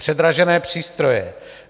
Předražené přístroje.